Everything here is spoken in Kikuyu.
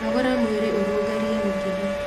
Nogoraga mwĩrĩ ũrũngarie mĩkiha